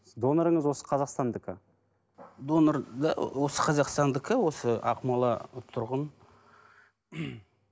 донорыңыз осы қазақстандікі донор да осы қазақстандікі осы ақмола тұрғын